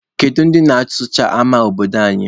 Kedu ndị na-asụcha ama obodo anyị?